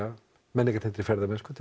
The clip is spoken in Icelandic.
menningartengdri ferðamennsku